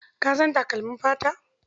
Ka san takalmin fata?